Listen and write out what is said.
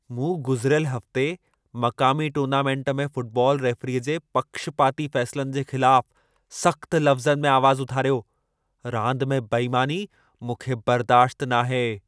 मूं गुज़िरियल हफ़्ते मक़ामी टूर्नामंट में फ़ुटबाल रेफ़रीअ जे पक्षपाती फ़ैसिलनि जे ख़िलाफ़, सख़्तु लफ़्ज़नि में आवाज़ु उथारियो। रांदि में बेईमानी मूंखे बर्दाश्त नाहे।